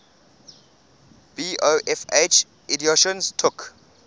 bofh editions took